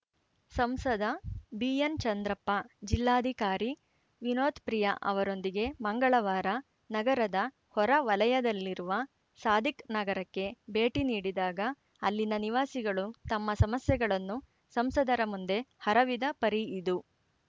ಸಂಸದ ಬಿಎನ್‌ ಚಂದ್ರಪ್ಪ ಜಿಲ್ಲಾಧಿಕಾರಿ ವಿನೋತ್‌ ಪ್ರಿಯಾ ಅವರೊಂದಿಗೆ ಮಂಗಳವಾರ ನಗರದ ಹೊರ ವಲಯದಲ್ಲಿರುವ ಸಾಧಿಕ್‌ ನಗರಕ್ಕೆ ಭೇಟಿ ನೀಡಿದಾಗ ಅಲ್ಲಿನ ನಿವಾಸಿಗಳು ತಮ್ಮ ಸಮಸ್ಯೆಗಳನ್ನು ಸಂಸದರ ಮುಂದೆ ಹರವಿದ ಪರಿ ಇದು